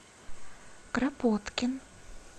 кропоткин